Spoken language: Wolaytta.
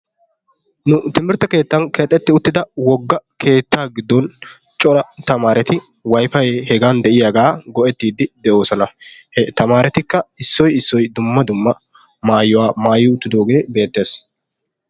Nu timirtte keettan keexetti uttida keettaa giddon cora tamaareti wayfayi hegan de"iyagaa go"ettiiddi de"oosona he tamaaretikka issoyi issoyi dumma dumma maayuwa maayi uttidoogee beetres.